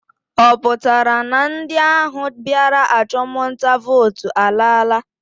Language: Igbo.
Ọ pụtara na ndị ahụ bịara achụmnta vootu alaala?